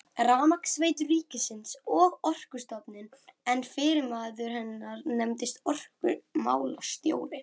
Rafmagnsveitur ríkisins og Orkustofnun, en yfirmaður hennar nefndist orkumálastjóri.